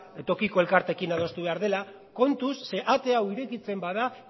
tokiko elkarteekin adostu behar dela kontuz ze ate hau irekitzen bada